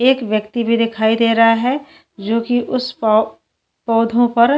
एक व्यक्ति भी दिखाई दे रहा है जोकि उस पौं पौधों पर --